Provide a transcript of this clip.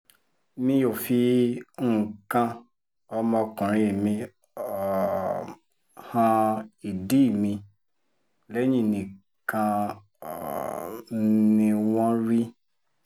mi ò fi nǹkan ọmọkùnrin mi um han ìdí mi lẹ́yìn nìkan um ni wọ́n rí